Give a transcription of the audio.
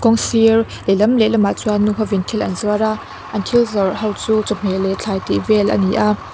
kawng sir lehlam lehlamah chuan nu hovin thil an zuar a an thil zawrh hi chu chawhmeh leh thlai vel a ni a.